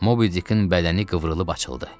Mobidickin bədəni qıvrılıb açıldı.